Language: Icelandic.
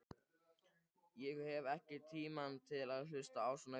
Ég hef ekki tíma til að hlusta á svona vitleysu.